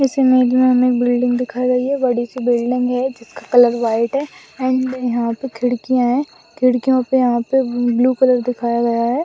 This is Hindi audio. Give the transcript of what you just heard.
इस इमेज में हमें एक बिल्डिंग दिखाई गई है बड़ी सी बिल्डिंग है जिसका कलर व्हाइट है एंड यहां पे खिड़कियां हैं खिड़कियों पे यहाँ पे ब्लू कलर दिखाया गया है।